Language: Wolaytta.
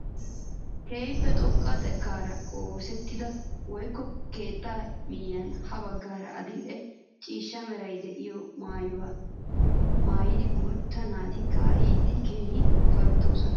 Keehippe xoqqa xekkaara oosettida wogga keettaa miyiyaan ha baggaara adil'e ciishsha meraara de'iyaa maayuwaa maayida guutta naati ka'iyaageti keehi ufayttoosona!